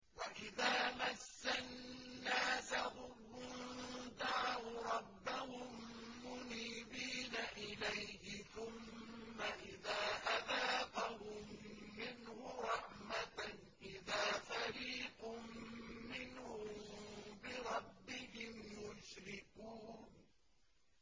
وَإِذَا مَسَّ النَّاسَ ضُرٌّ دَعَوْا رَبَّهُم مُّنِيبِينَ إِلَيْهِ ثُمَّ إِذَا أَذَاقَهُم مِّنْهُ رَحْمَةً إِذَا فَرِيقٌ مِّنْهُم بِرَبِّهِمْ يُشْرِكُونَ